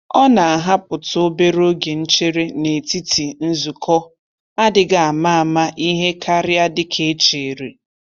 Ọ na-ahapụtụ obere oge nchere n'etiti nzukọ adịghị ama ama ihe karịa dịka e chere.